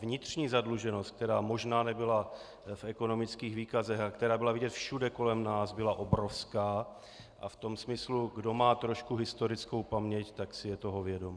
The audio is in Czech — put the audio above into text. Vnitřní zadluženost, která možná nebyla v ekonomických výkazech a která byla vidět všude kolem nás, byla obrovská a v tom smyslu, kdo má trošku historickou paměť, tak si je toho vědom.